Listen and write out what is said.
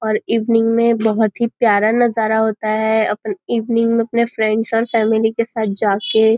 और इवनिंग में बहुत ही प्यारा नजारा होता है आप इवनिंग में अपने फ्रेंड्स और फॅमिली के साथ जाके --